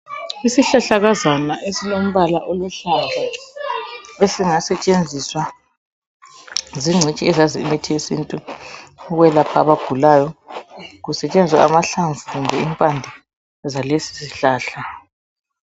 Izihlahlakazana esilombala oluhlaza ezingasetshenziswa zingcitshi ezazi imithi yesintu ukwelapha abagulayo kusetshenziswa amahlamvu kumbe impande zalesisihlahla.